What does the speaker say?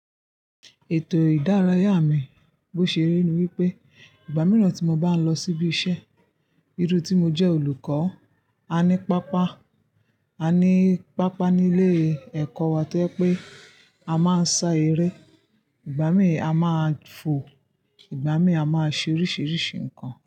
Ètò ìdárayá mi, bó ṣe rí ni wípé ìgbà mìíràn tí mo bá ń lọ síbi iṣẹ́, iri tí mo jẹ́ olùkọ́, a ní pápá, a ní pápá ní ilé ẹ̀kọ́ wa tí o je wipé a máa ń sá eré, ìgbà mìí a máa fò, ìgbà mìí a máa ṣe oríṣìíríṣìí ǹkan.